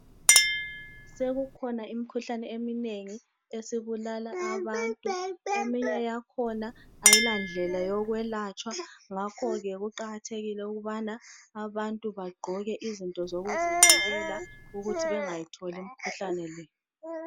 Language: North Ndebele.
sekukhona imikhuhlane eminengi esibulala abantu eminye yakhona ayilandlela yokwelatshwa ngakho ke kuqakathekile ukubana abantu bagqoke izinto zokuzivikela ukuthi bengayitholi imikhuhlane leyi